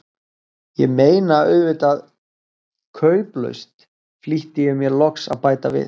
Ég meina auðvitað kauplaust, flýtti ég mér loks að bæta við.